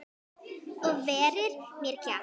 Og verið með kjaft.